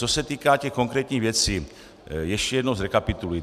Co se týká těch konkrétních věcí, ještě jednou zrekapituluji.